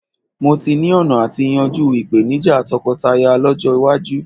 Mó tí ni ọ̀nà àti yanjú ìpèníjà tọkọtaya lọ́jọ́ iwájú